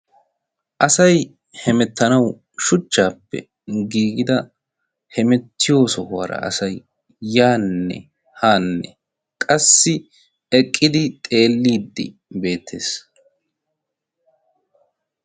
asai hemettanau shuchchaappe giigida hemettiyo sohuwaara asai yaanne haanne qassi eqqidi xeelliiddi beettees.